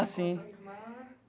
Ah, sim.